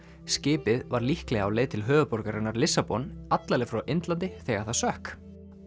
skipið var líklega á leið til höfuðborgarinnar Lissabon alla leið frá Indlandi þegar það sökk